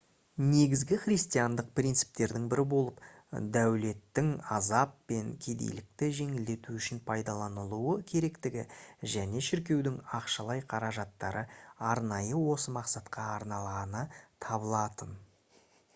негізгі христиандық принциптердің бірі болып дәулеттің азап пен кедейлікті жеңілдету үшін пайдаланылуы керектігі және шіркеудің ақшалай қаражаттары арнайы осы мақсатқа арналғаны табылатын